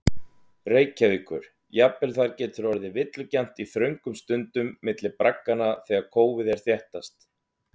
Reykjavíkur, jafnvel þar getur orðið villugjarnt í þröngum sundum milli bragganna þegar kófið er þéttast.